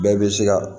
Bɛɛ bɛ se ka